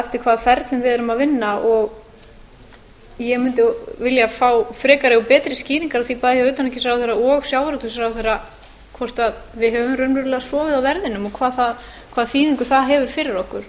eftir hvaða ferlum við erum að vinna ég mundi vilja fá frekari og betri skýringar á því bæði hjá utanríkisráðherra og sjávarútvegsráðherra hvort við höfum raunverulega sofið á verðinum og hvaða þýðingu það hefur fyrir okkur